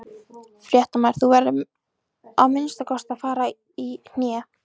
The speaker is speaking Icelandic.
Fréttamaður: Þú verður að fara að minnsta kosti í hné?